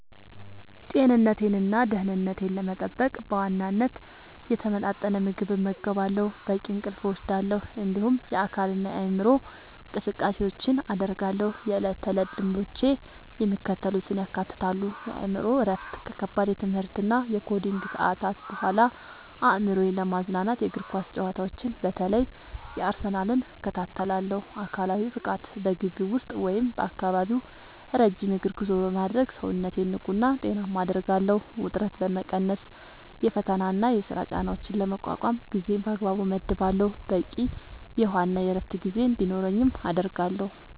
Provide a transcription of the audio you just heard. ጤንነቴንና ደህንነቴን ለመጠበቅ በዋናነት የተመጣጠነ ምግብ እመገባለሁ፣ በቂ እንቅልፍ እወስዳለሁ፣ እንዲሁም የአካልና የአእምሮ እንቅስቃሴዎችን አደርጋለሁ። የዕለት ተዕለት ልምዶቼ የሚከተሉትን ያካትታሉ፦ የአእምሮ እረፍት፦ ከከባድ የትምህርትና የኮዲንግ ሰዓታት በኋላ አእምሮዬን ለማዝናናት የእግር ኳስ ጨዋታዎችን (በተለይ የአርሰናልን) እከታተላለሁ። አካላዊ ብቃት፦ በግቢ ውስጥ ወይም በአካባቢው ረጅም የእግር ጉዞ በማድረግ ሰውነቴን ንቁና ጤናማ አደርጋለሁ። ውጥረት መቀነስ፦ የፈተናና የሥራ ጫናዎችን ለመቋቋም ጊዜን በአግባቡ እመድባለሁ፣ በቂ የውሃና የዕረፍት ጊዜ እንዲኖረኝም አደርጋለሁ።